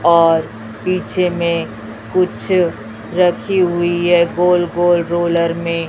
और पीछे में कुछ रखी हुई है गोल गोल रोलर में--